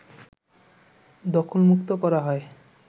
দখলমুক্ত করা হয়